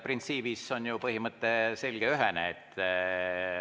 Printsiibis on ju põhimõte selge, ühene.